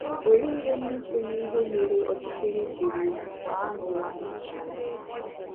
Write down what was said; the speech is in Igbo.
Olee ihe ndị so n'ihe mere ọchịchịrị jiri gbaa n'ụwa anyị nọ na ya taa?